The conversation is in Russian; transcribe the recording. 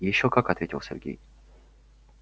ещё как ответил сергей